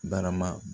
Barama